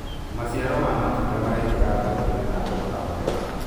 maciaro ma matunda maraingira thoko-inĩ na thoogora mwega